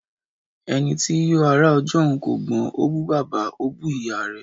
Eni ti yóò ará ọjọ́un kò gbọ́n, ó bú bàbá, ó bú ìyá rẹ̀.